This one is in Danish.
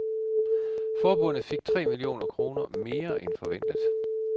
Forbundet fik tre millioner kroner mere end forventet.